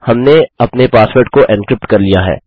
हमने अपने पासवर्ड को एन्क्रिप्ट कर लिया है